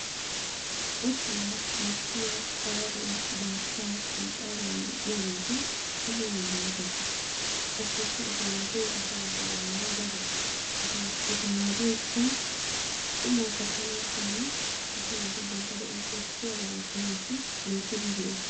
Otuwaa bashiya xaaruwa baataa kuyxaaruwa medhiyaageti kushe hiilanchchata. Qassikka eta maadoya asaa naatu bolan daro eta maadoykka qumaa katanaasinne asaa naati bantta de'uwan koshiyaba ootanassi loyttidi go'ees.